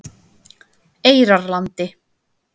Eyjarlandi